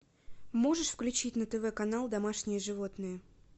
можешь включить на тв канал домашние животные